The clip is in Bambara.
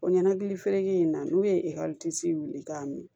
O ɲɛnakili fereke in na n'u ye wuli k'a mi